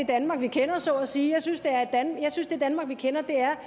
danmark vi kender så at sige jeg synes at det danmark vi kender er